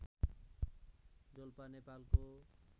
डोल्पा नेपालको